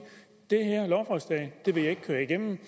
det her lovforslag vil jeg ikke køre igennem